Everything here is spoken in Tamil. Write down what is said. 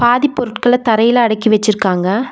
பாதி பொருட்கள தரையில அடக்கி வெச்சிருக்காங்க.